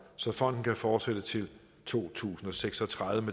så fonden kan fortsætte til to tusind og seks og tredive